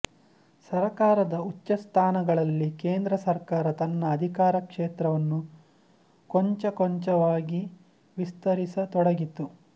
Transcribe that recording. ಸರಕಾರದ ಉಚ್ಚಸ್ಥಾನಗಳಲ್ಲಿ ಕೇಂದ್ರ ಸರ್ಕಾರ ತನ್ನ ಅಧಿಕಾರ ಕ್ಷೇತ್ರವನ್ನು ಕೊಂಚಕೊಂಚವಾಗಿ ವಿಸ್ತರಿಸತೊಡಗಿತು